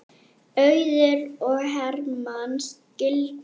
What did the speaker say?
Auður og Hermann skildu.